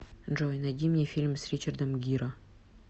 джой найди мне фильм с ричардом гиро